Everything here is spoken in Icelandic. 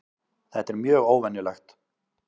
Þetta er mjög óvenjulegt